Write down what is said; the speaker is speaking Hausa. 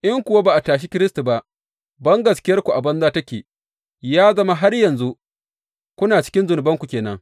In kuwa ba a tashe Kiristi ba, bangaskiyarku a banza take, ya zama har yanzu kuna cikin zunubanku ke nan.